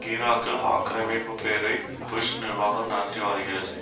ஈராக்கில் ஆக்கிரமிப்பு பேரை புஷ் நிர்வாகம் நடத்தி வருகிறது